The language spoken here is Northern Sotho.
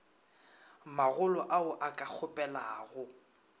magolo ao a ka kgopelago